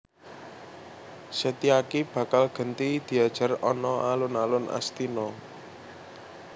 Setyaki bakal genti diajar ana alun alun Astina